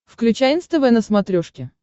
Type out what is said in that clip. включай нств на смотрешке